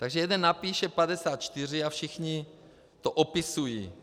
Takže jeden napíše 54 a všichni to opisují.